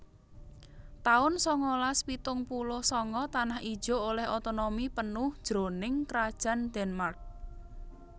taun sangalas pitung puluh sanga Tanah Ijo olèh otonomi penuh jroning Krajan Denmark